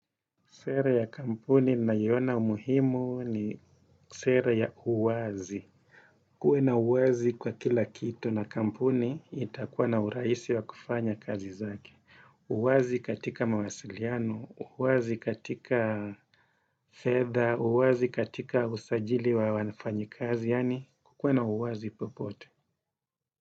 Sera ya kampuni ninaona umuhimu ni sera ya uwazi. Kuwe na uwazi kwa kila kitu na kampuni, itakuwa na uraisi wa kufanya kazi zake. Uwazi katika mawasiliano, uwazi katika fedha, uwazi katika usajili wa wanfanyikazi, yani kuwe na uwazi popote.